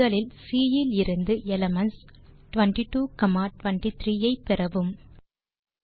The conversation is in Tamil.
முதலில் சி இலிருந்து எலிமென்ட்ஸ் 22 23 ஐ பெறவும்